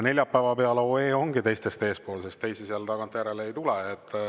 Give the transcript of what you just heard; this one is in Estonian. Neljapäeva peal olev OE ongi teistest eespool, sest teisi seal tagantjärele ei tule.